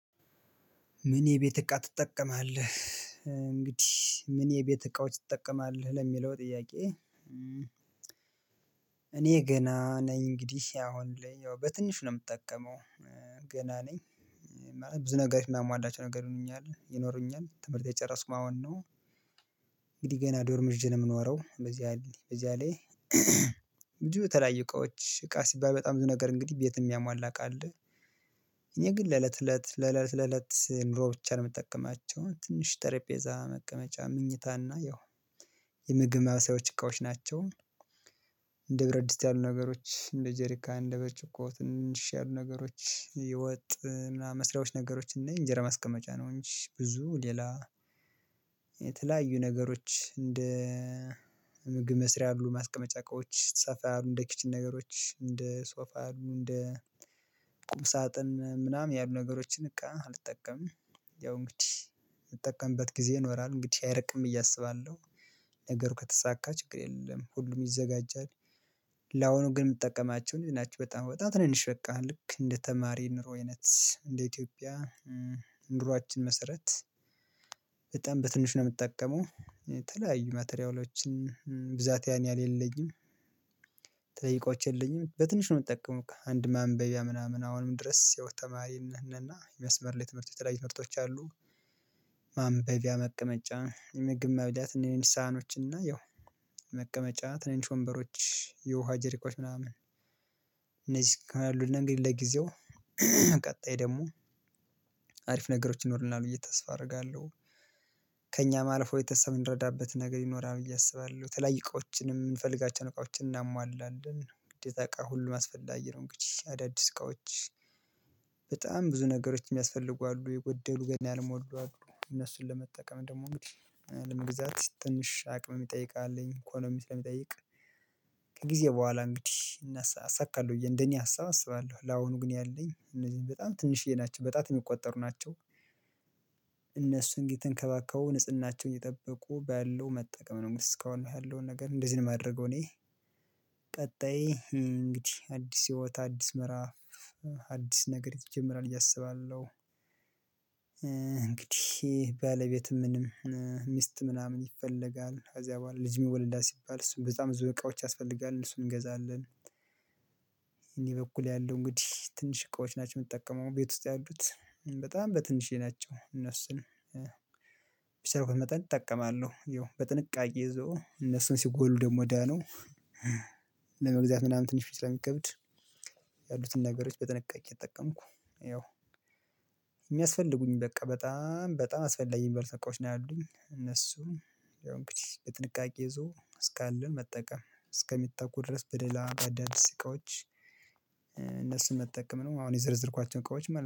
ምን የቤት እቃ ትጠቀማለህ? እንግዲህ ምን የቤት እቃዎች ትጠቀማለህ ለሚለው ጥያቄ? እኔ ገና ነኝ እንግዲህ አሁን ላይ ያው በትንሹ ነው የምጠቀመው። ገና ነኝ። ማለት ብዙ ነገር የማሟላቸው ነገር። ይኖሩኛል ትምህርት የጨረስኩም አሁን ነው። እንግዲህ ገና ዶርም ይዤ ነው የምኖረው በዚያ ላይ እንጂ በተለያዩ እቃዎች እቃ ሲባል በጣም ብዙ ነገር እንግዲህ ቤት የሚያሟላ እቃ አለ። እኔ ግን ለእለት እለት ለለት ለለት ኑሮ ብቻ ነው የምጠቀማቸው ትንሽ ጠረጴዛ መቀመጫ መኝታ እና ያው የምግብ ማብሰያዎች እቃዎች ናቸው። እንደ ብረት ድስት ያሉ ነገሮች እንደ ጀሪካ እንደ ብርጭቆ ትንንሽ ያሉ ነገሮች የወጥ መስሪያዎች ነገሮች እንጂ የእንጀራ ማስቀመጫ ነው እንጂ ብዙ ሌላ የተለያዩ ነገሮች እንደ ምግብ መስሪያ ያሉ ማስቀመጫ እቃዎች ሰፋ ያሉ እንደ ኪችን ነገሮች እንደ ሶፋ ያሉ እንደ ቁም ሳጥን ምናምን ያሉ ነገሮችን እቃ አልጠቀምም። ያው እንግዲህ የምጠቀምበት ጊዜ ይኖራል እንግዲህ አይርቅም ብየ አስባለሁ። ነገሩ ከተሳካ ችግር የለም ሁሉም ይዘጋጃል። ላሁኑ ግን የምትጠቀማቸው እኒህ ናችሁ በጣም በጣም ትንሽ በቃ ልክ እንደ ተማሪ ኑሮ አይነት እንደ ኢትዮጵያ ኑሯችን መሰረት በጣም በትንሹ ነው የምጠቀመው። የተለያዩ ማቴሪያሎችን ብዛት ያን ያህል የለኝም። የተለያዩ እቃዎች የለኝም በትንሽ ነው የምጠቀመው እቃ አንድ ማንበቢያ ምናምን አሁንም ድረስ የሆነ ተማሪ ነን እና የመስመር ላይ የትምህርት የተለያዩ ትምህርቶች አሉ። ማንበቢያ መቀመጫ የምግብ መብሊያ የሆነች ሳ ህኖች እና ያው መቀመጫ ትንንሽ ወንበሮች የውሃ ጄሪኮች ምናምን። እነዚህ እስካሁን አሉን እንግዲህ ለጊዜው ቀጣይ ደግሞ አሪፍ ነገሮች ይኖሩናል ብየ ተስፋ አደርጋለሁ። ከእኛም አልፎ ቤተሰብ የምንረዳበት ነገር ይኖራል ብዬ አስባለሁ። የተለያዩ እቃዎችንም የምንፈልጋቸውን እቃዎችን እናሟላለን ግዴታ እቃ ሁሉም አስፈላጊ ነው። እንግዲህ አዳዲስ እቃዎች በጣም ብዙ ነገሮች የሚያስፈልጉ አሉ የጎደሉ ገና ያልሞሉ አሉ እነሱን ለመጠቀም ደግሞ እንግዲህ ለመግዛት ትንሽ አቅም ይጠይቃል ኢኮኖሚ ስለሚጠይቅ። ከጊዜ በኋላ እንግዲህ አሳካለሁ እንደኔ ሀሳብ አስባለሁ ለአሁኑ ግን ያለኝ እነዚህን በጣም ትንሽዬ ናቸው በጣት የሚቆጠሩ ናቸው። እነሱን እየተንከባከቡ ንጽህናቸውን እየጠበቁ ባለው መጠቀም ነው እስካሁን ያለውን ነገር እንደዚህ ነው የማደርገው እኔ። ቀጣይ እንግዲህ አዲስ ህይወት አዲስ ምዕራፍ አዲስ ነገር ይጀመራል ብየ አስባለሁ። እንግዲህ ባለቤት ምንም ሚስት ምናምን ይፈለጋል ከዚያ በኋላ ልጅም ይወለዳል ሲባል እሱን በጣም ብዙ እቃዎች ያስፈልጋል እሱን እንገዛለን። በእኔ በኩል ያለው እንግዲህ ትንሽ እቃዎች ናቸው የምትጠቀመው ቤት ውስጥ ያሉት። በጣም በትንሽዬ ናቸው እነሱን በቻልኩት መጠን እጠቀማለሁ ያው በጥንቃቄ ይዞ እነሱን ሲጎሉ ደግሞ እዳ ነው። ለመግዛት ምናምን ትንሽ ስለሚከብድ። ያሉትን ነገሮች በጥንቃቄ እየተጠቀምኩ ያው የሚያስፈልጉኝ በቃ በጣም በጣም አስፈላጊ በርካታ እቃዎች ነው ያሉኝ እነሱም ያው እንግዲህ በጥንቃቄ ይዞ እስካለን መጠቀም እስከሚተኩ ድረስ በሌላ በአዳድስ እቃዎች። እነሱን መጠቀም ነው አሁን የዘረዘርኳቸውን እቃዎች